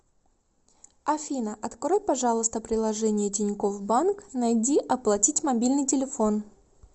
афина открой пожалуйста приложение тинькофф банк найди оплатить мобильный телефон